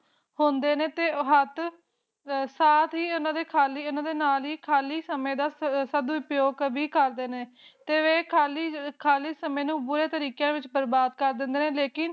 ਹੁੰਦੇ ਨਾਲ ਹੀ ਓਹਨਾ ਦੇ ਖਾਲੀ ਸਮੇ ਦਾ ਉਪਯੋਗ ਕਰਦੇ ਨੇ ਤਏ ਓਹ ਖਾਲੀ ਸਮੇ ਨੂ ਬੁਰੀ ਤਰਾ ਬਰਬਾਦ ਕਰ ਦਿੰਦੇ ਨੇ